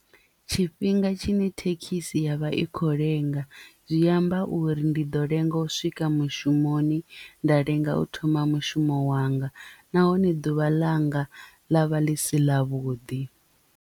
Tshifhinga tshine thekhisi ya vha i khou lenga zwi amba uri ndi ḓo lenga u swika mushumoni nda lenga u thoma mushumo wanga nahone ḓuvha ḽanga ḽa vha ḽi si ḽa vhuḓi.